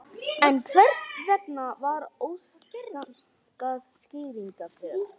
En hvers vegna var ekki óskað skýringa fyrr?